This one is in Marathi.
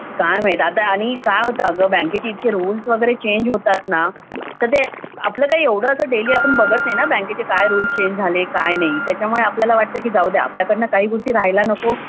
काय माहिती आणि आता बँकेचे इतके रुल्स वगैरे चेंज होतात ना तर ते आपण कसं डेली एवढं बघत नाही ना बँकेचे काय रूज चेंज झालेत काय नाही त्याच्यामुळे आपल्याला वाटतं की जाऊ दे आपल्याकडं काही गोष्टी राहिला नको